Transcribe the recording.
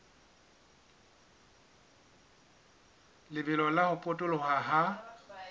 lebelo la ho potoloha ha